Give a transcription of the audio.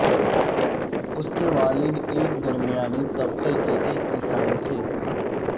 اس کے والد ایک درمیانی طبقے کے ایک کسان تھے